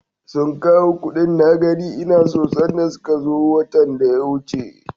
Sun kawo kuɗin na gani ina so sanda suka zo watan da ya wuce.